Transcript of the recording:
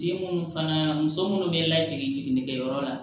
Den munnu fana muso munnu bɛ lajiginni kɛyɔrɔ la